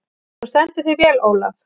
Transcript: Þú stendur þig vel, Olav!